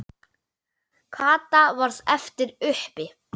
Kata varð eftir uppi.